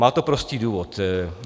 Má to prostý důvod.